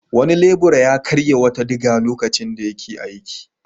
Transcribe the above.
Wani lebura ya karya wata diga lokacin da yake aiki.